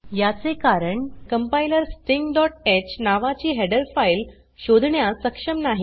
याचे कारण कंपाइलर stingह नावाची हेडर फाइल शोधण्यास सक्षम नाही